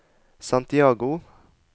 Santiago